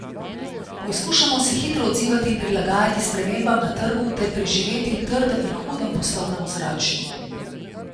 Poizkušamo se hitro odzivati in prilagajati spremembam na trgu ter preživeti v trdem in hudem poslovnem ozračju.